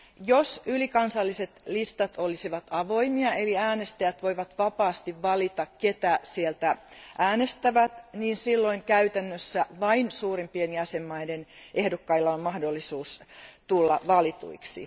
Jos ylikansalliset listat ovat avoimia, eli äänestäjät voivat vapaasti valita ketä sieltä äänestävät, silloin käytännössä vain suurimpien jäsenvaltioiden ehdokkailla on mahdollisuus tulla valituiksi.